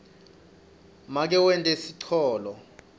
make wente sicholo